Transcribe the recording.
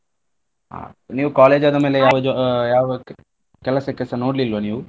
ಹಾ ನೀವ್ college ಆದ ಮೇಲೆ ಯಾವ jo~ ಯಾವ ಕೆಲಸಕ್ಕೆಸ ನೋಡ್ಲಿಲ್ವ ನೀವ್?